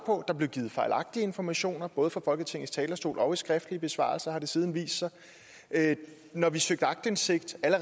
og der blev givet fejlagtige informationer både fra folketingets talerstol og i skriftlige besvarelser har det siden vist sig når vi søgte aktindsigt